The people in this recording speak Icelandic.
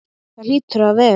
Það hlýtur að vera.